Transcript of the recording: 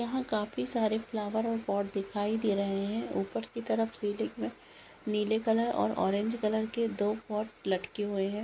काफी सारे फ्लावर और पॉट दिखाई दे रहे है। ऊपर की तरफ सीलिंग पे नीले कलर और ऑरेंज कलर के दो पॉट लटके हुए है।